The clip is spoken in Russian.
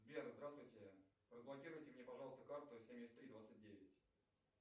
сбер здравствуйте разблокируйте мне пожалуйста карту семьдесят три двадцать девять